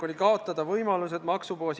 Palun kolm minutit juurde!